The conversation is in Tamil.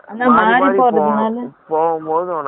போகும்போது உனக்கு late ஆகும்.